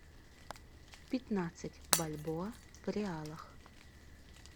пятнадцать бальбоа в реалах